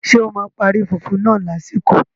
Ṣé o parí fùfú náà lásìkò?